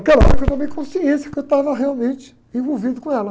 Naquela que eu tomei consciência que eu estava realmente envolvido com ela.